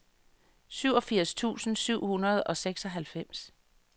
syvogfirs tusind syv hundrede og seksoghalvfems